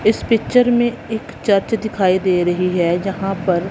इस पिक्चर में एक चर्च दिखाई दे रही है जहां पर--